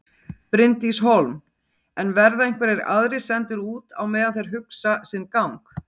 Bryndís Hólm: En verða einhverjir aðrir sendir út á meðan þeir hugsa sinn gang?